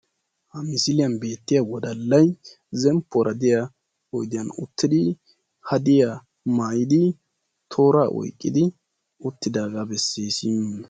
ha misiliyan beettiya wodallay zemppuwara diya oyidiyan uttidi hadiya mayyidi tooraa oyqqidi uttidaagaa besses.